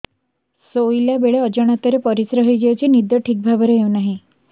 ଶୋଇଲା ବେଳେ ଅଜାଣତରେ ପରିସ୍ରା ହୋଇଯାଉଛି ନିଦ ଠିକ ଭାବରେ ହେଉ ନାହିଁ